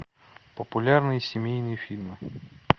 популярные семейные фильмы